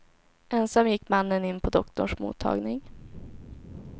Ensam gick mannen in på doktorns mottagning.